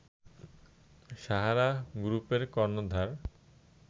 সাহারা গ্রুপের কর্ণধার